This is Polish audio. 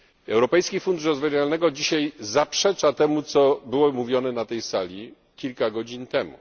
Europejski Fundusz Rozwoju Regionalnego dzisiaj zaprzecza temu, co było mówione na tej sali kilka godzin temu.